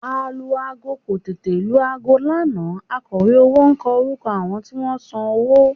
Alu-aago kò tètè lu aago lánàá akọ̀wé owó kọ orúkọ àwọn tí wọ́n san owó